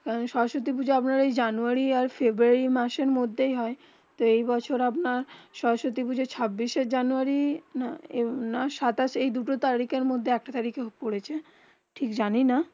হেঁ সরস্বতী পুজো আপনার জানুয়ারি ফেব্রুয়ারি. মাসে মদদে হয়ে যেই বছর সরস্বতী পুজো ছবিস জানুয়ারি. না সাতাশ যেই তারিকে মদদে পড়েছে জানি না